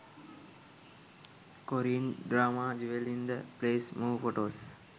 korean drama jewel in the palace move photos